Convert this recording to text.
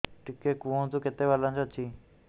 ଟିକେ କୁହନ୍ତୁ କେତେ ବାଲାନ୍ସ ଅଛି